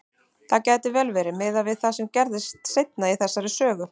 Það gæti vel verið, miðað við það sem gerist seinna í þessari sögu.